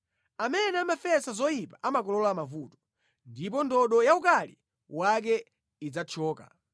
Amene amafesa zoyipa amakolola mavuto, ndipo ndodo yaukali wake idzathyoka.